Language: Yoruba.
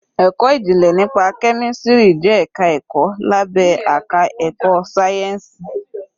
Ẹ̀kọ́ ìjìnlẹ̀ nípa kẹ́mísìrì jẹ́ ẹ̀ka ẹ̀kọ́ lábé àká ẹ̀kọ́ sáyẹ́ǹsìì.